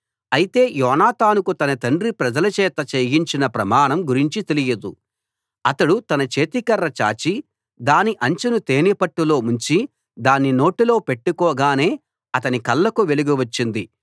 అయితే యోనాతానుకు తన తండ్రి ప్రజలచేత చేయించిన ప్రమాణం గురించి తెలియదు అతడు తన చేతికర్ర చాచి దాని అంచును తేనెపట్టులో ముంచి దాన్ని నోటిలో పెట్టుకోగానే అతని కళ్ళకు వెలుగు వచ్చింది